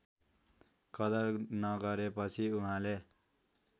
कदर नगरेपछि उहाँले